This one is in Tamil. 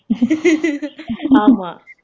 ஆமா